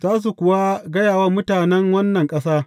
Za su kuwa gaya wa mutanen wannan ƙasa.